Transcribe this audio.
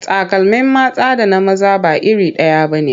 Takalmin mata da na maza ba iri ɗaya ba ne.